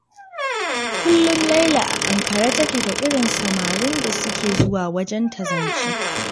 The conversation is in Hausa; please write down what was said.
Kullum Laila a ankare take da irin samarin da suke zuwa wajenta zance.